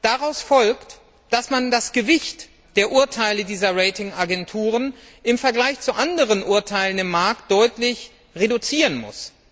Daraus folgt, dass man das Gewicht der Urteile dieser Rating Agenturen im Vergleich zu anderen Urteilen am Markt deutlich reduzieren muss.